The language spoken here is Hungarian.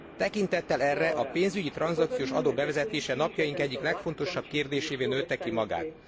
Tekintettel erre, a pénzügyi tranzakciós adó bevezetése napjaink egyik legfontosabb kérdésévé nőtte ki magát.